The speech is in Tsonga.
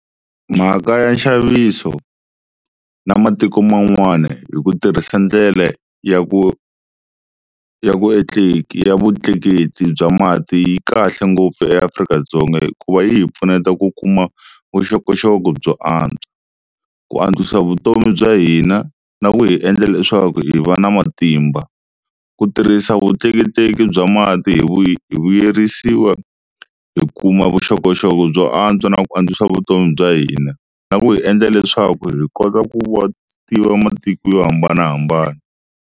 Mhaka ya nxaviso na matiko man'wana hi ku tirhisa ndlela ya ku ya ku ya vutleketli bya mati yi kahle ngopfu eAfrika-Dzonga hikuva yi hi pfuneta ku kuma vuxokoxoko byo antswa, ku antswisa vutomi bya hina na ku hi endla leswaku hi va na matimba, ku tirhisa vutleketleki bya mati hi vuyerisiwa hi kuma vuxokoxoko byo antswa na ku antswisa vutomi bya hina na ku hi endla leswaku hi kota ku va tiva matiko yo hambanahambana.